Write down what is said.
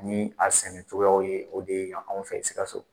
Ni a sɛnɛ cogoyaw ye, o de ye yan anw fɛ Sikaso.